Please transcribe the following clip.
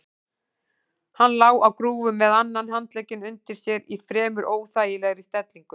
Hann lá á grúfu með annan handlegginn undir sér í fremur óþægilegri stellingu.